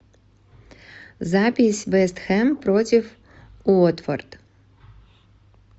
запись вест хэм против уотфорд